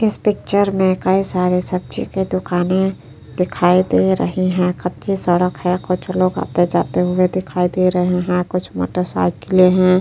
इस पिक्टर में कई सारे सब्जी के दुकाने दिखाई दे रही है। कच्ची सड़क है कुछ लोग आते जाते हुए दिखाई दे रहे हैं। कुछ मोटरसाइकिलें हैं।